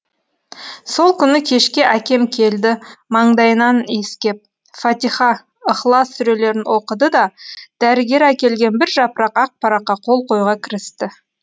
сол күні кешке әкем келді маңдайымнан иіскеп фатиха ыхлас сүрелерін оқыды да дәрігер әкелген бір жапырақ ақ параққа қол қоюға кірісті